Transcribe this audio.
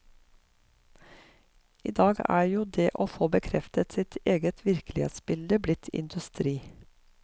Idag er jo det å få bekreftet sitt eget virkelighetsbilde blitt industri.